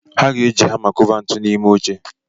Ha ga-eji hama kụba ntuli n'ime oche.